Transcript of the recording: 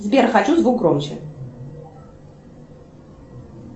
сбер хочу звук громче